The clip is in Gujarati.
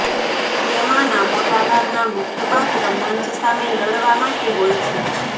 તેમાંના મોટા ભાગના મુખ્ય પાત્ર મંચ સામે લડવા માટે હોય છે